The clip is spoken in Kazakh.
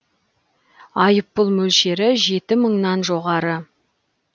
айыппұл мөлшері жеті мыңнан жоғары